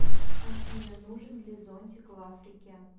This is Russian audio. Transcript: афина нужен ли зонтик в африке